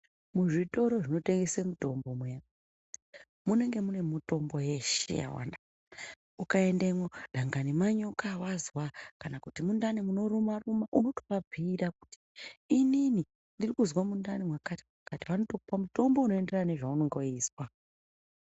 Muzvitoro zvinotengese mutombo muya ,munenge mune mutombo yeshe yawada. Ukaendemwo dangani manyoka awazwa kana kuti mundani munoruma-ruma unotovabhiira kuti inini ndiri kuzwa mundani mwakati- mwakati. Vanotokupa mutombo unoenderana nezvaunonga weizwa.